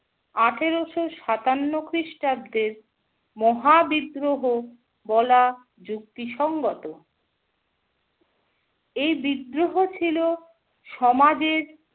আঠেরোশো সাতান্ন খ্রিস্টাব্দের, মহাবিদ্রোহ বলা যুক্তিসঙ্গত। এই বিদ্রোহ ছিল সমাজের